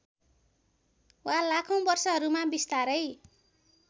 वा लाखौँ वर्षहरूमा बिस्तारै